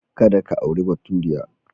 Kada ka auri baturiya.